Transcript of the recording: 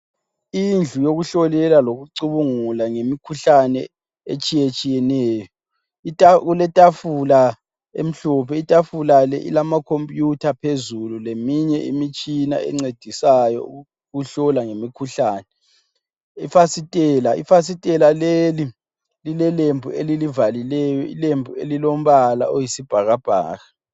Indlu yokuhlolela lokucubungula ngemkhuhlane etshiyetshiyeneyo. Kuletafula emhlophe, itafula le ilama computer phezulu leminye imtshina encedisayo ukuhlola ngemkhuhlane. Ifasitela, Ifasitela leli lilelembu elilivalileyo, ilembu elilombala oyisibhakabhaka.